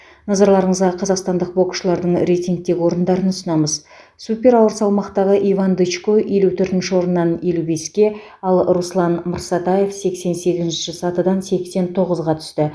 назарларыңызға қазақстандық боксшылардың рейтингтегі орындарын ұсынамыз супер ауыр салмақтағы иван дычко елу төртінші орыннан елу беске ал руслан мырсатаев сексен сегізінші сатыдан сексен тоғызға түсті